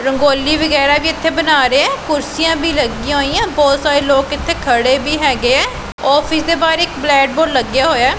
ਰੰਗੋਲੀ ਵਗੈਰਾ ਵੀ ਇਥੇ ਬਣਾ ਰਹੇ ਕੁਰਸੀਆਂ ਵੀ ਲੱਗੀਆਂ ਹੋਈਆਂ ਬਹੁਤ ਸਾਰੇ ਲੋਕ ਇੱਥੇ ਖੜੇ ਵੀ ਹੈਗੇ ਆਫਿਸ ਦੇ ਬਾਹਰ ਇੱਕ ਬਲੈਕ ਬੋਰਡ ਲੱਗਿਆ ਹੋਇਆ।